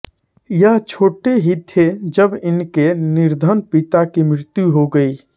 यह छोटे ही थे जब इनके निर्धन पिता की मृत्यु हो गई